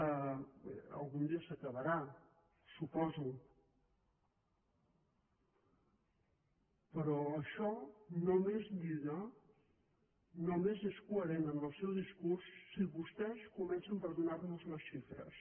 bé algun dia s’acabarà suposo però això només lliga només és coherent en el seu discurs si vostès comencen per donar nos en les xifres